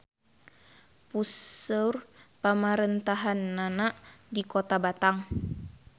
Puseur pamarentahannana di Kota Batang.